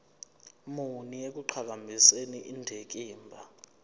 muni ekuqhakambiseni indikimba